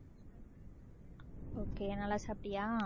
okay நல்லா சாப்பிட்டியா